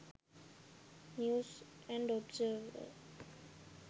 news and observer